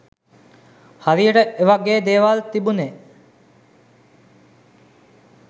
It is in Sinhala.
හරියට එ වගෙ දේවල් තිබුනෙ